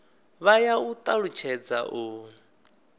vha ya u talutshedza u